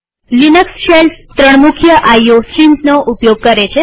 Linux shells ત્રણ મુખ્ય IO સ્ટ્રીમ્સનો ઉપયોગ કરે છે